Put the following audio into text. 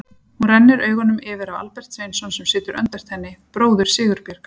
Hún rennir augunum yfir á Albert Sveinsson sem situr öndvert henni, bróður Sigurbjargar.